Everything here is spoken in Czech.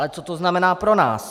Ale co to znamená pro nás?